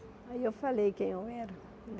Aí eu falei quem eu era.